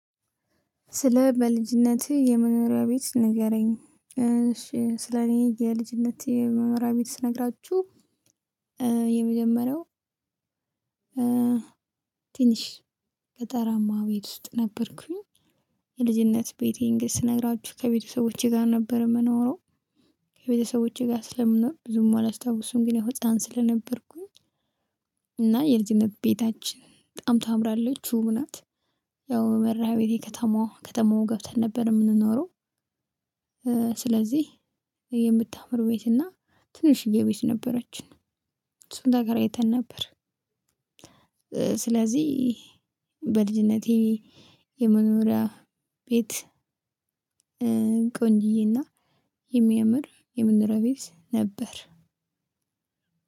ስለ በልጅነትህ የመኖሪያ ቤት ንገረኝ? እሺ ስለኔ የልጅነቴ መኖሪያ ቤት ስነግራችሁ የመጀመሪያው እ ትንሽ ገጠራማ ቤት ውስጥ ነበርኩኝ። የልጅነት ቤቴን ግን ስነግራችሁ ከቤተሰቦቼ ጋር ነበር ምኖረው። ከቤተሰቦቼ ጋር ስለምኖር ብዙም አላስታውስም ያው ህፃን ስለነበርኩኝ። እና የልጅነት ቤታችን በጣም ታምራለች ውብ ናት። ያው መርሃቤቴ ከተማዋ ከተማዋ ገብተን ነበር የምንኖረው። ስለዚህ የምታምር ቤት እና ትንሽዬ ቤት ነበረችን። እሱን ተከራይተን ነበር። ስለዚህ በልጅነቴ የመኖሪያ ቤት ቆንጂየ እና የሚያምር የመኖሪያ ቤት ነበር።